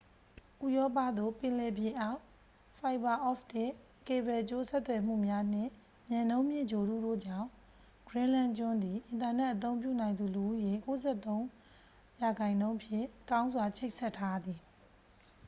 ဥရောပသို့ ပင်လယ်ပြင်အောက် ဖိုင်ဘာအော့ပ်တစ် ကေဘယ်ကြိုးဆက်သွယ်မှုများနှင့် မြန်နှုန်းမြင့် ဂြိုဟ်တုတို့ကြောင့် ဂရင်းလန်ကျွန်းသည် အင်တာနက် အသုံးပြုနိုင်သူ လူဦးရေ 93% ဖြင့် ကောင်းစွာ ချိတ်ဆက်ထားသည်